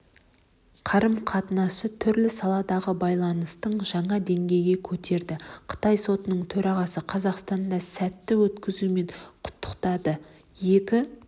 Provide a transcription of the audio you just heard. қарым-қатынасы түрлі саладағы байланысты жаңа деңгейге көтерді қытай сотының төрағасы қазақстанды сәтті өткізуімен құттықтады екі